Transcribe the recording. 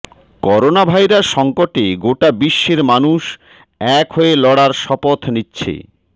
coronavirus সঙ্কটে গোটা বিশ্বের মানুষ এক হয়ে লড়ার শপথ নিচ্ছে